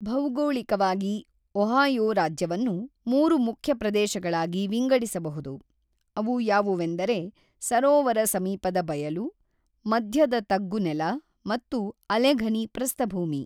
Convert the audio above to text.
ಭೌಗೋಳಿಕವಾಗಿ Ohio ರಾಜ್ಯವನ್ನು ಮೂರು ಮುಖ್ಯ ಪ್ರದೇಶಗಳಾಗಿ ವಿಂಗಡಿಸಬಹುದು ಅವು ಯಾವುವೆಂದರೆ ಸರೋವರ ಸಮೀಪದ ಬಯಲು, ಮಧ್ಯದ ತಗ್ಗು ನೆಲ ಮತ್ತು, ಅಲೆಘನಿ ಪ್ರಸ್ಥಭೂಮಿ.